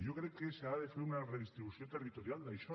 jo crec que s’ha de fer una redistribució territorial d’això